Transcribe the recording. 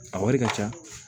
A wari ka ca